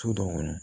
So dɔw kɔnɔ